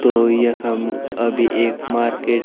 तो यखम अभी एक मार्केट ।